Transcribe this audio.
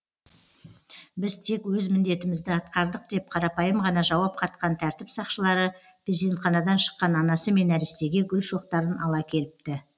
біз тек өз міндетімізді атқардық деп қарапайым ғана жауап қатқан тәртіп сақшылары перзентханадан шыққан анасы мен нәрестеге гүл шоқтарын ала келіпті